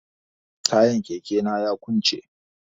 Tayan keke na ya kunce.